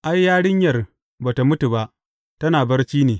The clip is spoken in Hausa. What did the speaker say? Ai, yarinyar ba tă mutu ba, tana barci ne.